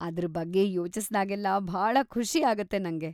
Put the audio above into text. ಅದ್ರ ಬಗ್ಗೆ ಯೋಚಿಸ್ದಾಗೆಲ್ಲ ಭಾಳ ಖುಷಿ ಆಗತ್ತೆ ನಂಗೆ.